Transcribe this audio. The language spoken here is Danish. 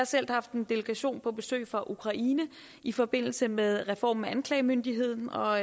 selv haft en delegation på besøg fra ukraine i forbindelse med reformen af anklagemyndigheden og